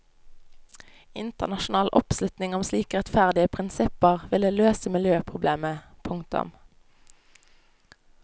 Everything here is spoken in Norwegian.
Internasjonal oppslutning om slike rettferdige prinsipper ville løse miljøproblemet. punktum